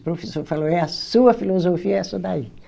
O professor falou, é a sua filosofia, é essa daí.